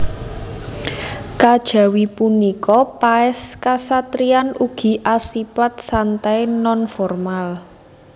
Kajawi punika paès kasatriyan ugi asipat santai non formal